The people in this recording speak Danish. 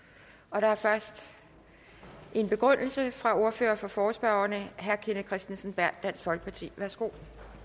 der er først en begrundelse fra ordføreren for forespørgerne herre kenneth kristensen berth dansk folkeparti værsgo